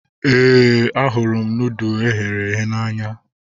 Éè, ahụrụ m nudụ eghere eghe n'anya